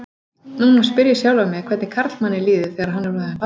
Núna spyr ég sjálfan mig hvernig karlmanni líði þegar hann er orðinn pabbi.